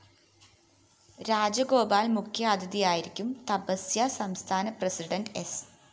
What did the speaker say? രാജഗോപാല്‍ മുഖ്യാതിഥിയായിരിക്കും തപസ്യ സംസ്ഥാന പ്രസിഡന്റ് സ്‌